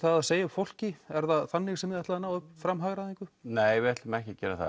að segja upp fólki er það þannig sem þið ætlið að ná fram hagræðingu nei við ætlum ekki að gera það